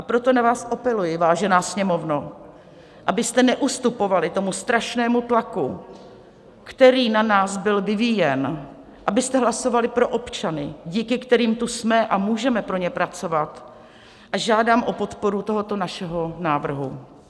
A proto na vás apeluji, vážená Sněmovno, abyste neustupovali tomu strašnému tlaku, který na nás byl vyvíjen, abyste hlasovali pro občany, díky kterým tu jsme a můžeme pro ně pracovat, a žádám o podporu tohoto našeho návrhu.